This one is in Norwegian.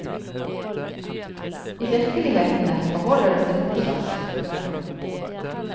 I virkelighetene forholder det seg motsatt. punktum